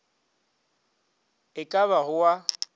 e ka ba go a